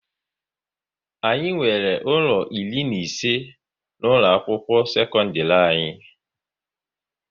Anyị nwere ụlọ iri na ise na ụlọ akwụkwọ sekondiri anyị